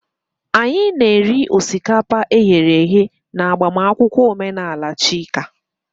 Anyị na-eri osikapa e ghere eghe na agbamakwụkwọ omenala Chika.